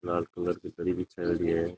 लाल कलर की दरी बिछाएंडी है।